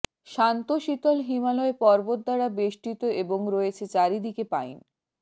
শান্ত শীতল হিমালয় পর্বত দ্বারা বেষ্টিত এবং রয়েছে চারিদিকে পাইন